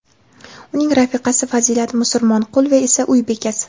uning rafiqasi Fazilat Musurmonqulova esa uy bekasi.